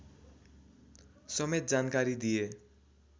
समेत जानकारी दिए